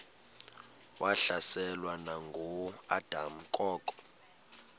wahlaselwa nanguadam kok